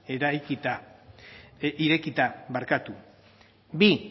irekita bi